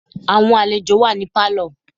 Àwọn àlejò wà ní Pálọ̀.